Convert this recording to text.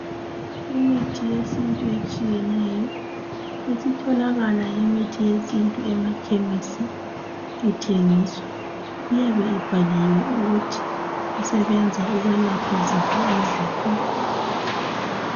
Imithi etshiyeneyo, isitholakala imithi yesintu emakhemisi ithengiswa, iyabe ibhaliwe ukuthi isebenza ukwelapha ziphi izifo.